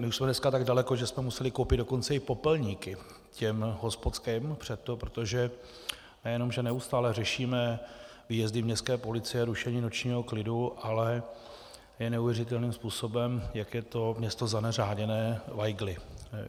My už jsme dneska tak daleko, že jsme museli koupit dokonce i popelníky těm hospodským před to, protože nejenom že neustále řešíme výjezdy městské policie, rušení nočního klidu, ale je neuvěřitelným způsobem, jak je to město zaneřáděné vajgly.